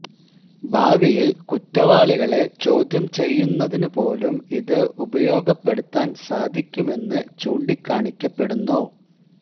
ഭാവിയില് കുറ്റവാളികളെ ചോദ്യം ചെയ്യുന്നതിനു പോലും ഇത് ഉപയോഗപ്പെടുത്താന് സാധിക്കുമെന്ന് ചൂണ്ടിക്കാണിക്കപ്പെടുന്നു